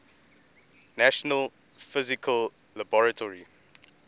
national physical laboratory